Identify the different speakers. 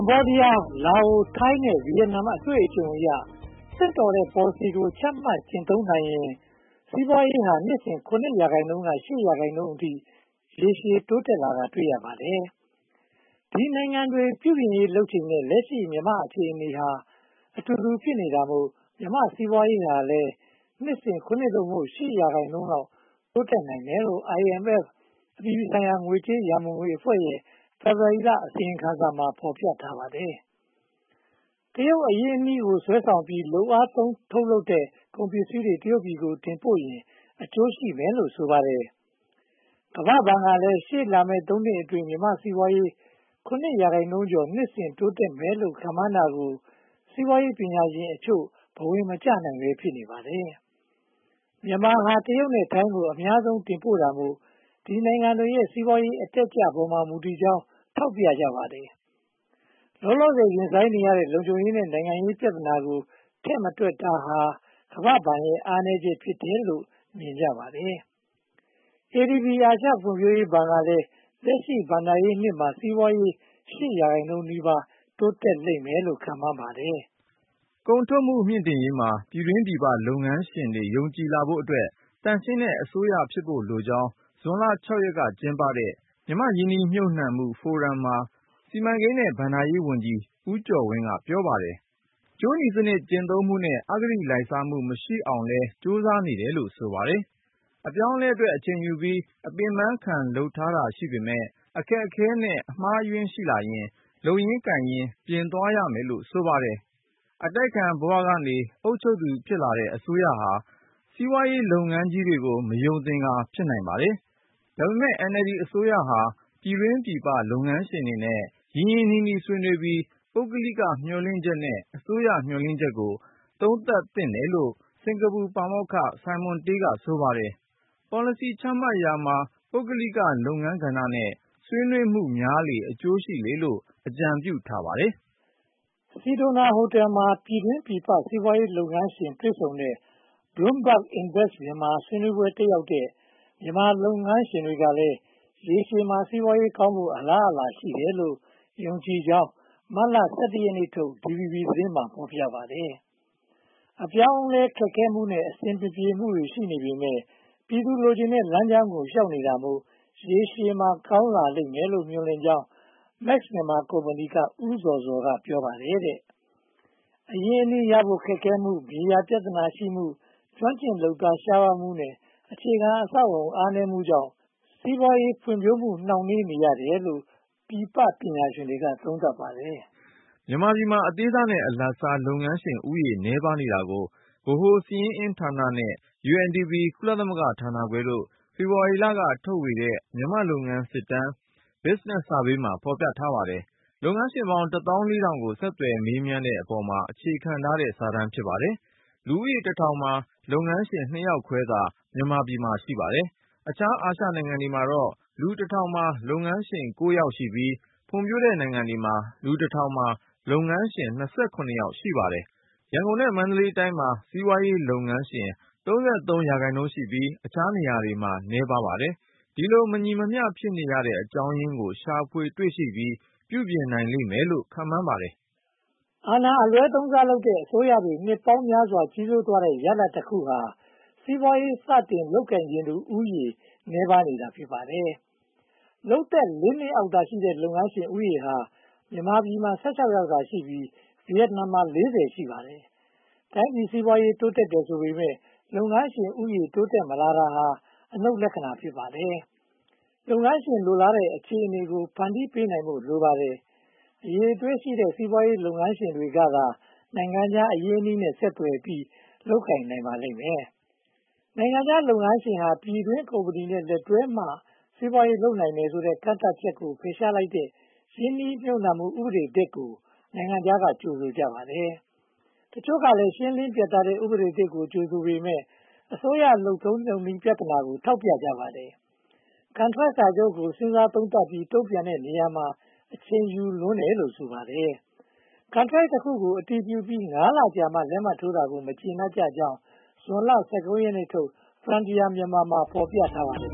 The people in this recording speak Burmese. Speaker 1: ဘောဒီယား၊ လာအို၊ ထိုင်းနဲ့ ဗိယက်နမ်တို့ရဲ့ အတွေ့အကြုံအရ သင့်တော်တဲ့ ပေါ်လစီကို ချမှတ်ကျင့်သုံးနိုင်ရင် စီးပွားရေးဟာ နှစ်စဉ် (၇) ရာခိုင်နှုန်းကနေ (၈) ရာခိုင်နှုန်းအထိ ရေရှည်တိုးတက်တာ တွေ့ရပါတယ်။ ဒီနိုင်ငံတွေ ပြုပြင်ရေးလုပ်ချိန်နဲ့ လက်ရှိ မြန်မာ့အခြေအနေဟာ အတူတူဖြစ်နေတာမို့ မြန်မာ့စီးပွားရေးဟာလည်း နှစ်စဉ် (၇) သို့မဟုတ် (၈) ရာခိုင်နှုန်းလောက် တိုးတက်နိုင်တယ်လို့ IMF အပြည်ပြည်ဆိုင်ရာ ငွေကြေးရန်ပုံငွေအဖွဲ့ရဲ့ ဖေဖေါ်ဝါရီလ အစီရင်ခံစာမှာ ဖော်ပြထားပါတယ်။ တရုတ် အရင်းအနှီးကို ဆွဲဆောင်ပြီး လုပ်အားသုံး ထုတ်လုပ်တဲ့ ကုန်ပစ္စည်းတွေ တရုတ်ပြည်ကို တင်ပို့ရင် အကျိုးရှိမယ်လို့ ဆိုပါတယ်။ ကမ္ဘာ့ဘဏ်ကလည်း ရှေ့လာမယ့် သုံးနှစ်အတွင်းမှာ မြန်မာ့စီးပွားရေး (၇) ရာခိုင်နှုန်းကျော် နှစ်စဉ်တိုးတက်မယ်လို့ ခန့်မှန်းတာကို စီးပွားရေးပညာရှင်အချို့ ဘဝင်မကျနိုင်ဘဲ ဖြစ်နေပါတယ်။ မြန်မာဟာ တရုတ်နဲ့ထိုင်းကို အများဆုံး တင်ပို့တာမို့ ဒီနိုင်ငံတွေရဲ့ စီးပွားရေးအတက်အကျပေါ်မှာ မူတည်ကြောင်း ထောက်ပြကြပါတယ်။ လောလောဆယ် ရင်ဆိုင်နေရတဲ့ လုံခြုံရေးနဲ့ နိုင်ငံရေးပြဿနာကို ထည့်မတွက်တာဟာ ကမ္ဘာ့ဘဏ်ရဲ့ အားနည်းချက် ဖြစ်တယ်လို့ မြင်ကြပါတယ်။ ADB အာရှဖွံ့ဖြိုးရေးဘဏ်ကလည်း လက်ရှိဘဏ္ဍာရေးနှစ်မှာ စီးပွားရေး (၈) ရာခိုင်နှုန်းနီးပါး တိုးတက်လိမ့်မယ်လို့ ခန့်မှန်းပါတယ်
Speaker 2: ။ ကုန်ထုတ်မှု မြှင့်တင်ရေးမှာ ပြည်တွင်းပြည်ပ လုပ်ငန်းရှင်တွေ ယုံကြည်လာဖို့အတွက် သန့်ရှင်းတဲ့ အစိုးရဖြစ်ဖို့လိုကြောင်း ဇွန်လ (၆) ရက်က ကျင်းပတဲ့ မြန်မာ့ရင်းနှီမြုပ်နံှမှု ဖိုရမ် (forum) မှာ စီမံကိန်းနဲ့ ဘဏ္ဍာရေးဝန်ကြီး ဦးကျော်ဝင်း က ပြောပါတယ်။ ကြိုးနီစနစ် ကျင့်သုံးမှုနဲ့ အဂတိလိုက်စားမှု မရှိအောင်လည်း ကြိုးစားနေတယ်လို့ ဆိုပါတယ်။ အပြောင်းအလဲအတွက် အချိန်ယူပြီး အပင်ပန်းခံလုပ်ထားတာရှိပေမယ့် အခက်အခဲနဲ့ အမှားအယွင်းရှိလာရင် လုပ်ရင်းကိုင်ရင်း ပြင်သွားရမယ်လို့ ဆိုပါတယ်။ အတိုက်အခံဘဝက အစိုးရ ဖြစ်လာတဲ့ အစိုးရဟာ စီးပွားရေးလုပ်ငန်းကြီးတွေကို မယုံသင်္ကာ ဖြစ်နိုင်ပါတယ်။ ဒါပေမဲ့ NLD အစိုးရဟာ ပြည်တွင်းပြည်ပ လုပ်ငန်းရှင်တွေနဲ့ ရင်းရင်းနှီးနှီး ဆွေးနွေးပြီး ပုဂ္ဂလိက မျှော်လင့်ချက်နဲ့ အစိုးရ မျှော်လင့်ချက်တို့ကို သုံးသပ်သင့်ပါတယ်လို့ စင်္ကာပူပါမောက္ခဆိုင်မွန်တေး က ဆိုပါတယ်။ပေါ်လစီ ချမှတ်ရာမှာ ပုဂ္ဂလိက လုပ်ငန်းကဏ္ဍနဲ့ ဆွေးနွေးမှုများလေလေ အကျိုးရှိလေလေလို့ အကြံပြုထားပါတယ်
Speaker 1: ။ စီဒိုနာဟိုတယ်မှာ ပြည်တွင်းပြည်ပ စီးပွားရေးလုပ်ငန်းရှင်တွေ တွေ့ဆုံတဲ့ Bloomberg Invest Myanmar ဆွေးနွေးပွဲ တက်ရောက်တဲ့ မြန်မာလုပ်ငန်းရှင်တွေကလည်း ရေရှည်မှာ စီးပွားရေးကောင်းဖို့ အလားအလာရှိတယ်လို့ သုံးသပ်ကြောင်း မတ်လ (၁၁) ရက်နေ့ထုတ် DVB သတင်းမှာ ဖော်ပြပါတယ်။ အပြောင်းအလဲမှာ ခက်ခဲမှု၊ အဆင်မပြေမှုတွေ ရှိနေပေမယ့် ပြည်သူ လိုချင်တဲ့လမ်းကြောင်းကို လျှောက်နေတာမို့ ရေရှည်မှာ ကောင်းလာလိမ့်မယ်လို့ မျှော်လင့်ကြောင်း Max Myanmar ကုမ္ပဏီက ဦးဇော်ဇော် က ပြောပါတယ်။ အရင်းအနှီးရဖို့ ခက်ခဲမှု၊ မြေယာပြဿနာရှိမှု၊ ကျွမ်းကျင်လုပ်သား ရှားပါးမှုနဲ့ အခြေခံအဆောက်အအုံ အားနည်းမှုကြောင့် စီးပွားရေးဖွံ့ဖြိုးမှု နှောင့်နှေးနေရတယ်လို့ ပြည်ပပညာရှင်တွေက သုံးသပ်ပါတယ်
Speaker 2: ။ မြန်မာပြည်မှာ အသေးစားနဲ့ အလတ်စား လုပ်ငန်းရှင်ဦးရေ နည်းပါးနေတာကို ဗဟိုစာရင်းအင်းဌာနနဲ့ UNDP ကုလသမဂ္ဂဌာနခွဲတို့ ဖေဖေါ်ဝါရီလက ထုတ်ဝေတဲ့ မြန်မာ့လုပ်ငန်းစစ်တမ်း Business Survey မှာ ဖော်ပြထားပါတယ်။ လုပ်ငန်းရှင်ပေါင်း တသောင်းလေးထောင်ကို ဆက်သွယ်မေးမြန်းတဲ့အပေါ်မှာ အခြေခံထားတဲ့စာတမ်း ဖြစ်ပါတယ်။ လူဦးရေးတထောင်မှာ လုပ်ငန်းရှင် နှစ်ယောက်ခွဲသာ မြန်မာပြည်မှာ ရှိပါတယ်။ အခြားအာရှနိုင်ငံတွေမှာတော့ လူတထောင်မှာ လုပ်ငန်းရှင် ကိုးယောက်ရှိပြီး ဖွံ့ဖြိုးတဲ့ နိုင်ငံတွေမှာ လူတထောင်မှာ လုပ်ငန်းရှင် (၂၇) ယောက် ရှိပါတယ်။ ရန်ကုန် နဲ့ မန္တလေးတိုင်းမှာ စီးပွားရေးလုပ်ငန်းရှင် (၃၃) ရာခိုင်နှုန်းရှိပြီး အခြားနေရာတွေမှာ နည်းနည်းပါးပါတယ်။ ဒီလို မညီမမျှ ဖြစ်နေတဲ့အကြောင်းရင်းကို ရှာဖွေတွေ့ရှိပြီး ပြုပြင်နိုင်လိမ့်မယ်လို့ ခန့်မှန်းနိုင်ပါတယ်
Speaker 1: ။ အာဏာအလွဲသုံးစားလုပ်တဲ့ အစိုးရတွေ နှစ်ပေါင်းများစွာ ကြီးစိုးသွားတဲ့ ရလဒ်တခုဟာ စီးပွားရေး စတင်လုပ်ကိုင်ချင်သူဦးရေ နည်းပါးနေတာ ဖြစ်ပါတယ်။ လုပ်သက်လေးနှစ်အောက်သာရှိတဲ့ လုပ်ငန်းရှင်ဦးရေဟာ မြန်မာပြည်မှာ (၁၆) ယောက်သာရှိပြီး ဗိယက်နမ်မှာ (၄၀) ရှိပါတယ်။ တိုင်းပြည်စီးပွားရေး တိုးတက်တယ်ဆိုပေမယ့် လုပ်ငန်းရှင်ဦးရေ တိုးတက်မလာတာဟာ အနုတ်လက္ခဏာ ဖြစ်ပါတယ်။ လုပ်ငန်းရှင်တွေကသာ နိုင်ငံခြားအရင်းအနှီးနဲ့ ဆက်သွယ်ပြီး လုပ်ကိုင်နိုင်ပါလိမ့်မယ်။ နိုင်ငံခြားလုပ်ငန်းရှင်ဟာ ပြည်တွင်းကုမ္ပဏီနဲ့ လက်တွဲမှ စီးပွားရေးလုပ်နိုင်တယ်ဆိုတဲ့ ကန့်သတ်ချက်ကို ဖယ်ရှားလိုက်တဲ့ ရင်းနှီးမြုပ်နံှမှု ဥပဒေသစ်ကို နိုင်ငံခြားက ကြိုဆိုပါတယ်။ တချို့ကလည်း ရှင်းလင်းပြတ်သားတဲ့ ဥပဒေသစ်ကို ကြိုဆိုပေမယ့် အစိုးရ လုပ်နည်းလုပ်ထုံးပြဿနာကို ထောက်ပြကြပါတယ်။ ကန်ထရိုက်စာချုပ်ကို စဉ်းစားသုံးသပ်ပြီး တုံ့ပြန်တဲ့နေရာမှာ အချိန်ယူလွန်းတယ်လို့ ဆိုပါတယ်။ ကန်ထရိုက်တခု အတည်ပြုပြီး ငါးလကြာမှ လက်မှတ်ထိုးတာကို မကျေနပ်ကြကြောင်း ဇွနလ (၁၉) ရက်ထုတ် Frontier Myanmar စာစောင်မှာ ဖော်ပြထားပါတယ်